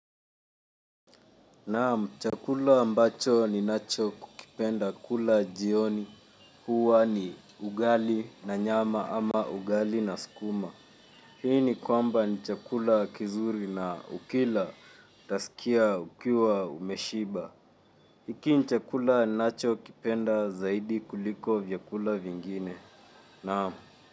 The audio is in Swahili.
Naam, chakula ambacho ninachokukipenda kula jioni huwa ni ugali na nyama ama ugali na sukuma. Hii ni kwamba ni chakula kizuri na ukila utasikia ukiwa umeshiba. Hiki ni chakula ninacho kipenda zaidi kuliko vyakula vingine, naam.